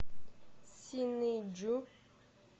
синыйджу